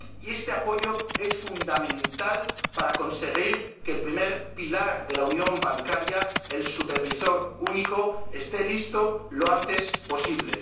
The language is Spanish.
Este apoyo es fundamental para conseguir que el primer pilar de la unión bancaria, el supervisor único, esté listo lo antes posible.